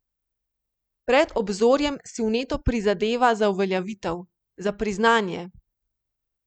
Pred obzorjem si vneto prizadeva za uveljavitev, za priznanje.